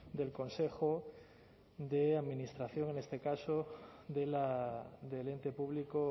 del consejo de administración en este caso del ente público